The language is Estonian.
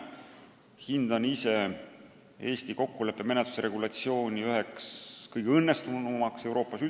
Minu hinnangul on Eesti kokkuleppemenetluse regulatsioon üks kõige õnnestunumaid Euroopas.